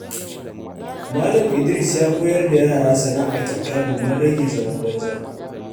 Malam Idris ya koyar da yara sana’a kyauta domin rage zaman banza.